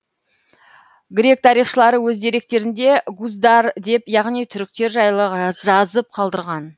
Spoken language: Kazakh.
грек тарихшылары өз деректерінде гуздар деп яғни түріктер жайлы жазып қалдырған